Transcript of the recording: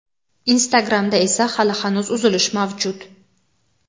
Instagramda esa hali hanuz uzilish mavjud.